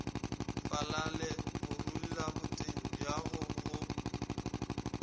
falale gorulla boteng bjago go